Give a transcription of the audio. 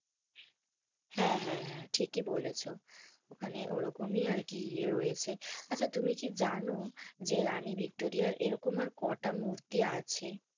হেঁ, হেঁ, হেঁ, ঠিকি বলেছো ওখানে ওরকমই আরকি এই রয়েছে, আচ্ছা তুমি কি জানো যে রানী ভিক্টোরিয়ার এরকম আর কোটা মূর্তি আছে?